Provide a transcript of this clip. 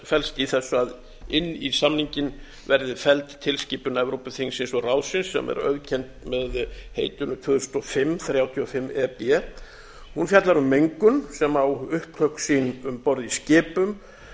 fellst í þessu að inn ís samninginn verði felld tilskipun evrópuþingsins og ráðsins sem er auðkennd með heitinu tvö þúsund og fimm þrjátíu og fimm e b hún fjallar um mengun sem á upptök sín um borð í skipum